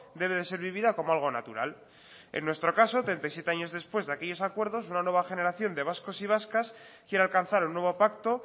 debe de ser vivida como algo natural en nuestro caso treinta y siete años después de aquellos acuerdos una nueva generación de vascos y vascas quiere alcanzar un nuevo pacto